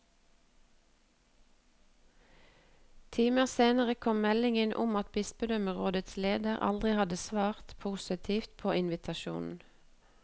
Timer senere kom melding om at bispedømmerådets leder aldri hadde svart positivt på invitasjonen.